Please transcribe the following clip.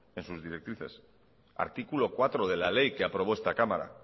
en sus directrices artículo cuatro de la ley que aprobó esta cámara